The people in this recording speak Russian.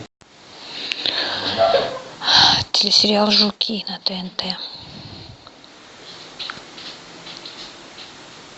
телесериал жуки на тнт